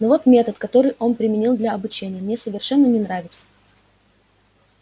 но вот метод который он применил для обучения мне совершенно не нравится